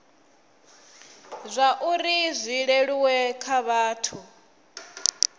zwauri zwi leluwe kha vhathu